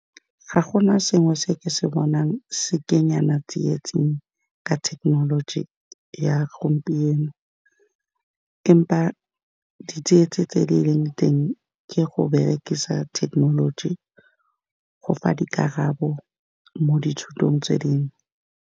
Ga gona sengwe se ke se bonang se kenyana tsietsing ka thekenoloji ya gompieno, empa ditsietsi tse di leng teng ke go berekisa thekenoloji go fa dikarabo mo dithutong tse dingwe.